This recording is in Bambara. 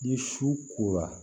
Ni su kora